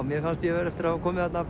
mér fannst ég eftir að hafa komið þarna